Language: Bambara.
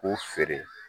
K'u feere